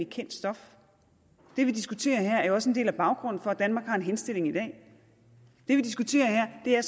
kendt stof det vi diskuterer her er jo også en del af baggrunden for at danmark har en henstilling i dag det vi diskuterer her er